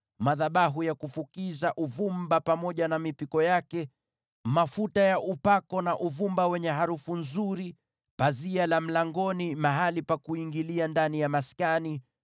madhabahu ya kufukiza uvumba pamoja na mipiko yake, mafuta ya upako na uvumba wenye harufu nzuri; pazia la mlangoni mahali pa kuingilia ndani ya maskani;